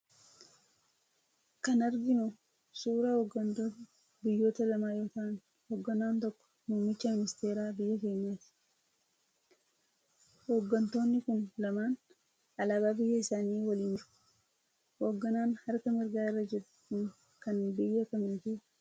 kan arginu suuraa hoggantoota biyyoota lamaa yemmuu ta'aan, hogganaan tokko muummicha ministeeraa biyya keenyaati. Hoggantoonni kun lamaan alaabaa biyya isaanii waliin jiru. Hogganaan harka mirgaa irra jiru kun kan biyya kamiiti?